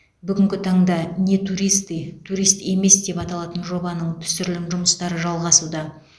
бүгінгі таңда не туристы турист емес деп аталатын жобаның түсірілім жұмыстары жалғасуда